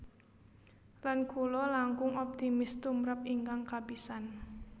Lan kula langkung optimis tumrap ingkang kapisan